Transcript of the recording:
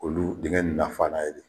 Olu dingin in na fana na ye de